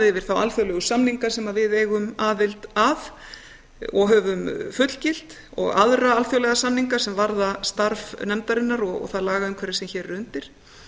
yfir þá alþjóðlegu samninga sem við eigum aðild að og höfum fullgilt og aðra alþjóðlega samninga sem varða starf nefndarinnar og það lagaumhverfi sem hér er undir